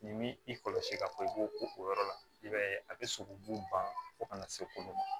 Ni m'i kɔlɔsi ka fɔ i b'o ko o yɔrɔ la i b'a ye a bɛ sogobu ban fo kana se olu ma